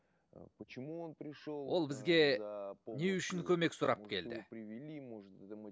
почему он пришел ол бізге не үшін көмек сұрап келді